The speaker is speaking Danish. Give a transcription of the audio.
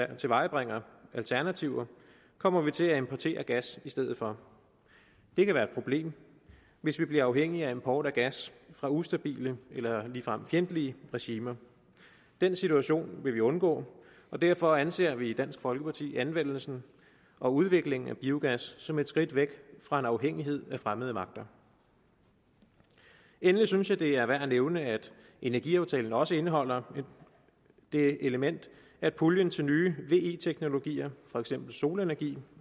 tilvejebringer alternativer kommer vi til at importere gas i stedet for det kan være et problem hvis vi bliver afhængige af import af gas fra ustabile eller ligefrem fjendtlige regimer den situation vil vi undgå derfor anser vi i dansk folkeparti anvendelsen og udviklingen af biogas som et skridt væk fra afhængighed af fremmede magter endelig synes jeg det er værd at nævne at energiaftalen også indeholder det element at puljen til nye ve teknologier for eksempel solenergi